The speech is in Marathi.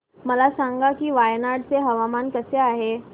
मला सांगा की वायनाड चे हवामान कसे आहे